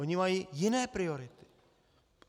Oni mají jiné priority.